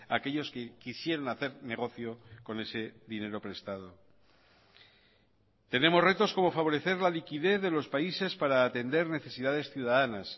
aquellos que quisieron hacer negocio con ese dinero prestado tenemos retos como favorecer la liquidez de los países para atender necesidades ciudadanas